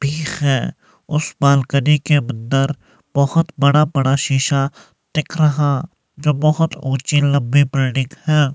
ठीक है उस बालकनी के अंदर बहुत बड़ा बड़ा शीशा दिख रहा जो बहुत ऊंचे लंबी बिल्डिंग है।